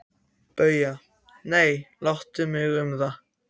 BAUJA: Nei, láttu mig um það.